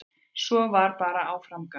Svo var bara áfram gakk.